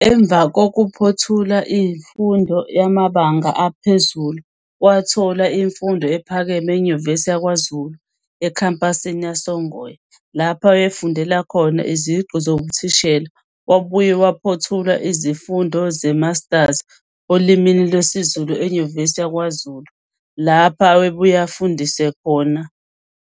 Emava kukuphothula imfundo yamabanga aphezulu wathola imfundo ephakeme eNyuvesi yakwaZulu ekhempasini yasoNgoye lapho ayefundela khona iziqu zobuthishela. Wabuye waphothula izifundo ze-"Maters" olimini lwesiZulu eNyuvesi yakwaZulu lapho ayebuye afundise khona.